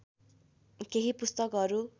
केही पुस्तकहरू